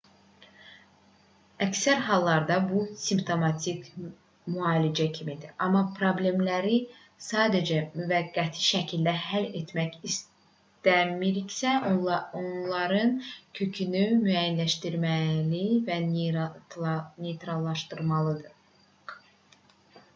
əksər hallarda bu simptomatik müalicə kimidir amma problemləri sadəcə müvəqqəti şəkildə həll etmək istəmiriksə onların kökünü müəyyənləşdirməli və neytrallaşdırmalıyıq